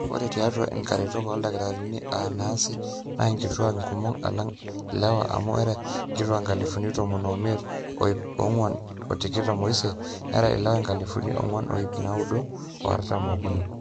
ore tiatua inkaretok ooldakitarini aa naasi naa inkituak inkumok alang ilewa amu era nkituak inkalifuni tomon ooimiet o ip ong'wuan o tikitam ooisiet nera ilewa inkalifuni ong'wuan o ip naaudo o artam ookuni